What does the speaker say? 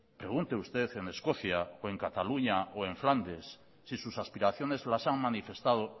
pregunte usted en escocia o en cataluña o en flandes si sus aspiraciones las han manifestado